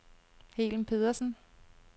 Helen Pedersen